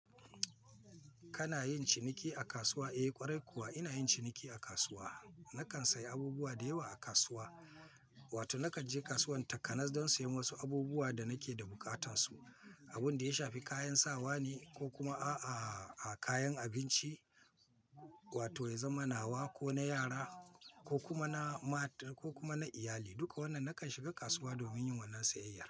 Kana yin ciniki a kasuwa? Eh ƙwarai kuwa ina yin ciniki a kasuwa. Nakan sayi abubuwa da yawa a kasuwa, wato nakan je kasuwan Takanas don siyan wasu abubuwa da nake da buƙatansu. Abun da ya shafi kayan sawa ne ko kuma a-a kayan abinci, wato ya zama na wa, ko na yara ko kuma na mata ko kuma na iyali. Duka wannan nakan shiga kasuwa domin yin wannan siyayya.